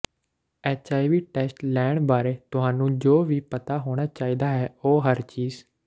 HIV test ਲੈਣ ਬਾਰੇ ਤੁਹਾਨੂੰ ਜੋ ਵੀ ਪਤਾ ਹੋਣਾ ਚਾਹੀਦਾ ਹੈ ਉਹ ਹਰ ਚੀਜ